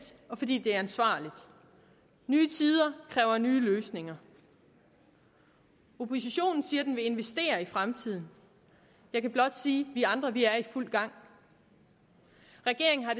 og fordi det er ansvarligt nye tider kræver nye løsninger oppositionen siger at den vil investere i fremtiden jeg kan blot sige vi andre er i fuld gang regeringen har